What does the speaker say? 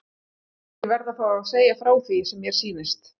Ég verð að fá að segja frá því sem mér sýnist.